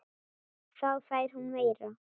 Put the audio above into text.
Þá fær hún meira.